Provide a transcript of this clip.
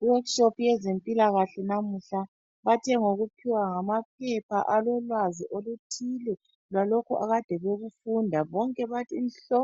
I workshop yezempilakahle lamuhla bathe ngokuphiwa amaphepha alolwazi oluthile ngalokho akade bekufunda bonke bathi nhlo